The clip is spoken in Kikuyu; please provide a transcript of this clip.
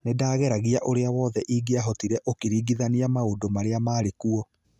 Nĩ ndageragia ũrĩa wothe ingĩavotire ũkĩringithania maũndũ marĩa marĩkuo